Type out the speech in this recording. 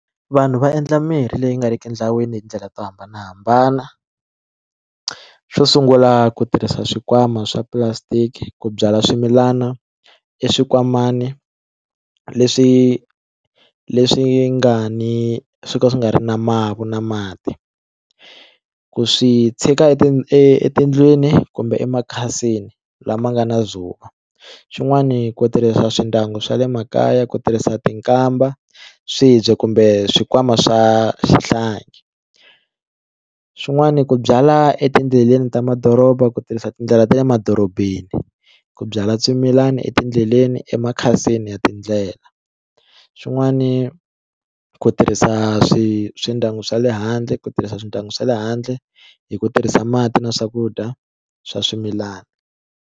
Vanhu va endla mirhi leyi nga riki nawini hi tindlela to hambanahambana xo sungula ku tirhisa xikwama swa plastic ku byala swimilana i xinkwamani leswi leswi nga ni swo ka swi nga ri na mati na mati ku swi tshika etindlwini kumbe emakhasini lama nga na xin'wani ku tirhisa swindyangu swa le makaya ku tirhisa tikamba swibye kumbe swikwama swa swihlangi swin'wani ku byala etindleleni ta madoroba ku tirhisa tindlela ta le madorobeni ku byala swimilana etindleleni emakhasini ya tindlela swin'wani ku tirhisa swi swindyangu swa le handle ku tirhisa swindyangu swa le handle hi ku tirhisa mati na swakudya swa swimilana.